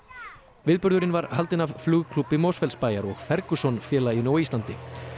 viðburðurinn var haldinn af Flugklúbbi Mosfellsbæjar og Ferguson félaginu á Íslandi